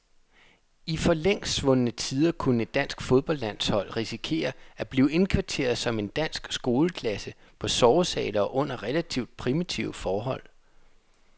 I for længst svundne tider kunne et dansk fodboldlandshold risikere at blive indkvarteret som en dansk skoleklasse på sovesale og under relativt primitive forhold.